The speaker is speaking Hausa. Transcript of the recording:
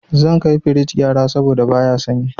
Zan kai firij gyara saboda baya sanyi.